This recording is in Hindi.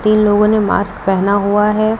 इन लोगों ने मास्क पहना हुआ है।